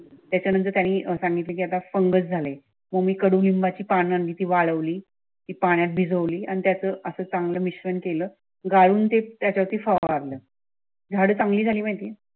त्यानंतर त्यांनी अह सांगितले की आता फंगस झाले मग मी कडूनिंबाची पानं आणि ती वाढवल ती पाण्यात भिजवली आणि त्याचं असं चांगलं मिश्रण केलं गाळून ते त्याच्या फवारल झाडे चांगली झाली माहिती आहे.